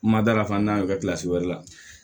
Madarafan y'o kɛ wɛrɛ la